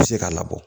Bɛ se k'a labɔ